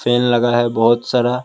Fan लगा है बहोत सारा।